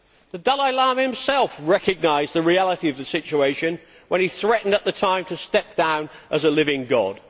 The Dalai Lama himself recognised the reality of the situation when he threatened at the time to step down as a living god.